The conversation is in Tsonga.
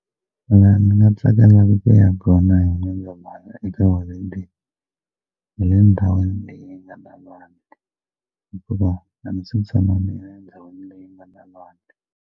La ni nga tsakelaka ku ya kona hi N'wendzamhala eka holideyi hi le ndhawini leyi nga na lwandle hikuva a ndzi si tshama niya endhawini leyi nga na lwandle.